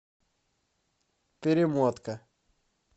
перемотка